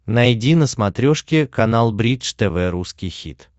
найди на смотрешке канал бридж тв русский хит